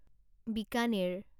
Bikaner